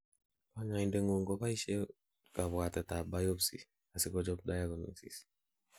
kanyoindet ngung koboishen kabwatet ak biopsy asikochob diagnosis